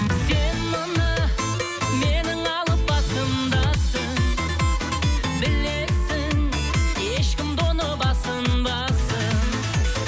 сен мына менің алып басымдасың білесің ешкім де оны басынбасың